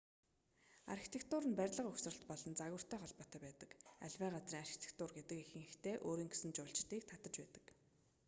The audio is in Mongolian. архитектур нь барилга угсралт болон загвартай холбоотой байдаг аливаа газрын архитектур гэдэг ихэнхдээ өөрийн гэсэн жуулчдыг татаж байдаг